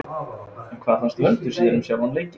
En hvað fannst Vöndu síðan um sjálfan leikinn?